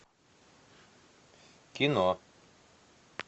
кино